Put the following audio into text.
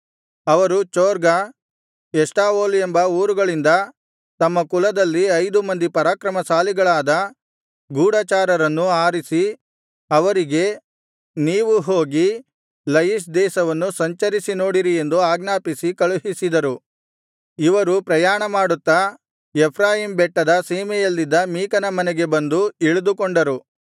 ಅವರು ಚೊರ್ಗಾ ಎಷ್ಟಾವೋಲ್ ಎಂಬ ಊರುಗಳಿಂದ ತಮ್ಮ ಕುಲದಲ್ಲಿ ಐದು ಮಂದಿ ಪರಾಕ್ರಮಶಾಲಿಗಳಾದ ಗೂಢಚಾರರನ್ನು ಆರಿಸಿ ಅವರಿಗೆ ನೀವು ಹೋಗಿ ಲಯಿಷ್ ದೇಶವನ್ನು ಸಂಚರಿಸಿ ನೋಡಿರಿ ಎಂದು ಆಜ್ಞಾಪಿಸಿ ಕಳುಹಿಸಿದರು ಇವರು ಪ್ರಯಾಣಮಾಡುತ್ತಾ ಎಫ್ರಾಯೀಮ್ ಬೆಟ್ಟದ ಸೀಮೆಯಲ್ಲಿದ್ದ ಮೀಕನ ಮನೆಗೆ ಬಂದು ಇಳಿದುಕೊಂಡರು